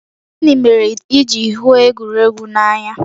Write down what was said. Gịnị mere i ji hụ egwuregwu n'anya?